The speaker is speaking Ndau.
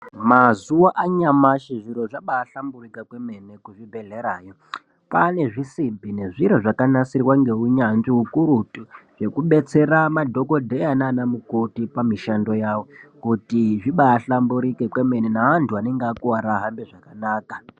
Mazuva anyamashe zviro zvabahlamburika kwemene kuzvibhedlera, kwaane zvisimbi nezviro zvakanasirwa ngehunyanzvi hukurutu hwekubetsera madhokodheya naana mukoti pamishando yavo kuti zvibahlamburike kwemene neantu vanenge vakuvara vahambe zvakanaka.